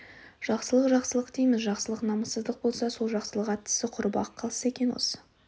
жақсылық жақсылық дейміз жақсылық намыссыздық болса сол жақсылық аттысы құрып-ақ қалса екен осы